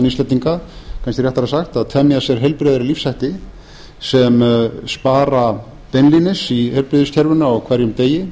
íslendinga kannski réttara sagt að temja sér heilbrigðari lífshætti sem spara beinlínis í heilbrigðiskerfinu á hverjum degi